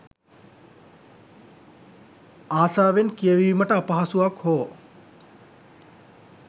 ආසාවෙන් කියවීමට අපහසුවක් හෝ